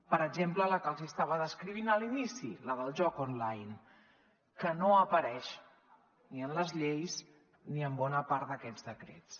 per exemple la que els hi estava descrivint a l’inici la del joc online que no apareix ni en les lleis ni en bona part d’aquests decrets